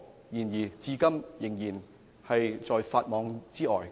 但是，他們至今仍在法網之外。